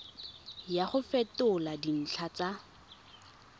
ya go fetola dintlha tsa